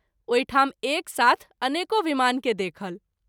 ओहि ठाम एक साथ अनेको विमान के देखल।